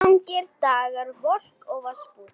Langir dagar, volk og vosbúð.